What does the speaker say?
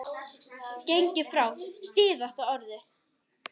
gengið frá SÍÐASTA ORÐINU.